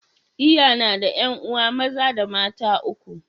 l yana da 'yan'uwa maza da mata uku.